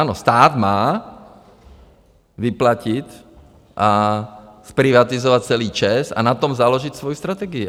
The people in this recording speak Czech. Ano, stát má vyplatit a zprivatizovat celý ČEZ a na tom založit svoji strategii.